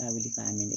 A wili k'a minɛ